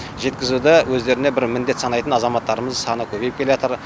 жеткізуді өздеріне бір міндет санайтын азаматтарымыздың саны көбейіп келеатыр